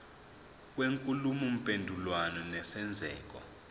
kwenkulumo mpendulwano nesenzeko